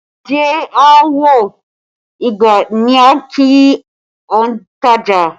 Ajé a Wọ́ igbá ni a ń kí ontaja